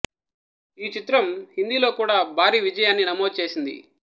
ఈ చిత్రం హిందిలో కూడా భారీ విజయాన్ని నమోదు చేసింది